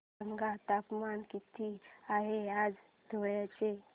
सांगा तापमान किती आहे आज धुळ्याचे